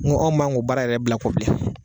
N ko an man kan ko baara yɛrɛ bila kɔ bilen.